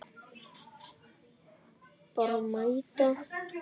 Bara mæta.